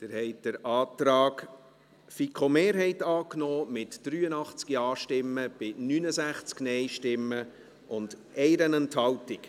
Sie haben den Antrag FiKo-Mehrheit angenommen, mit 83 Ja- bei 69 Nein-Stimmen und 1 Enthaltung.